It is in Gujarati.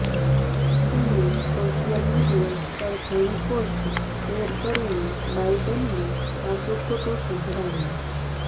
તેણે સોશિયલ મીડિયા પર ઘણી પોસ્ટ શેર કરીને બાઈડનને સાચું ખોટું સંભળાવ્યું